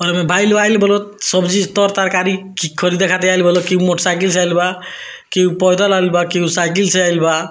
बाइल-वाइल बोलो सब्जी-तर तरकारी ख़रीदे खातिर आइल बा की हु मोटरसाइकिल से आईल बा की पैदल आईल बा की उ साइकिल से आईल बा।